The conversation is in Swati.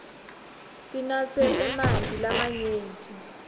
sinatse emanti lamanyenti